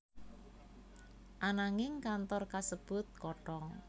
Ananging kantor kasebut kothong